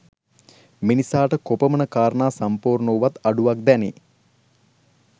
මිනිසාට කොපමණ කාරණා සම්පූර්ණ වුවත් අඩුවක් දැනේ.